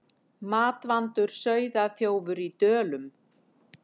Matvandur sauðaþjófur í Dölum